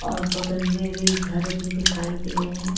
और बगल में भी घर भी दिखाई दे रहे हैं।